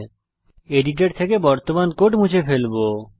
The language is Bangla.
আমি এডিটর থেকে বর্তমান কোড মুছে ফেলবো